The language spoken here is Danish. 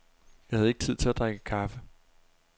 Jeg havde ikke tid til at drikke kaffe.